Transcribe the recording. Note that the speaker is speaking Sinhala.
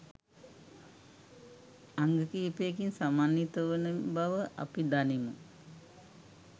අංග කිහිපයකින් සමන්විත වන බව අපි දනිමු.